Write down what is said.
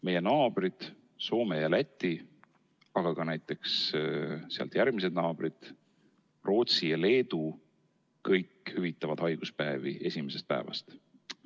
Meie naabrid Soome ja Läti, aga ka näiteks sealt järgmised naabrid, Rootsi ja Leedu, kõik hüvitavad haiguspäevi esimesest päevast.